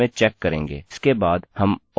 इसके बाद हम or die लिख सकते हैं और एक एरर मेसेज देता है